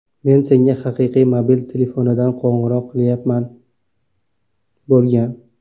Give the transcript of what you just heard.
Men senga haqiqiy mobil telefonidan qo‘ng‘iroq qilyapman!” bo‘lgan.